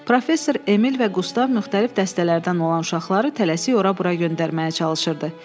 Professor Emil və Qustav müxtəlif dəstələrdən olan uşaqları tələsik ora-bura göndərməyə çalışırdı.